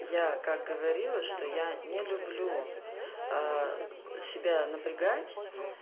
я как говорила что я не люблю себя напрягать